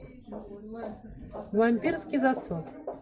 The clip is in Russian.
вампирский засос